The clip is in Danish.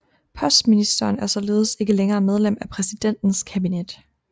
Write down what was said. Postministeren er således ikke længere medlem af præsidentens kabinet